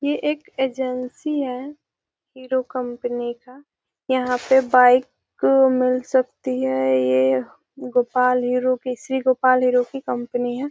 ये एक एजेंसी है हीरो कंपनी का यहां पे बाइक मिल सकती है ये गोपाल हीरो के श्री गोपाल हीरो की कंपनी है।